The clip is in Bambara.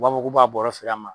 U b'a fɔ k'u b'a bɔrɔ feere an ma.